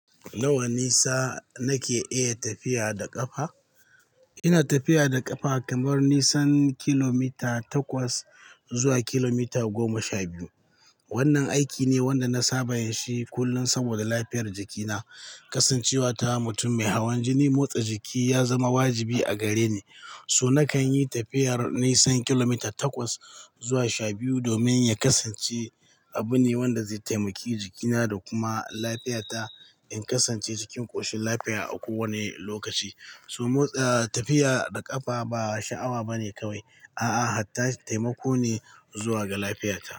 Nawa nisa nake iya tafiya da ƙafa. Ina tafiya da ƙafa kamar nisan kilomita takwas zuwa kilomita goma sha biyu. Wannan aiki ne wanda na saba yinshi kullum saboda lafiyar jikina. Kasancewa ta mutum mai hawan jini, motsa jiki ya zama wajibi a gare ni, so na kan yi tafiyar nisan kilomita takwas zuwa sha biyu domin ya kasance abu ne wanda zai taimaki jikina da kuma lafiyata in kasance cikin ƙoshin lafiya a kowane lokaci. So motsa, ah, tafiya da ƙafa ba sha'awa bane kawai, a'a, hatta taimako ne zuwa ga lafiyata.